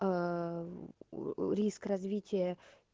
риск развития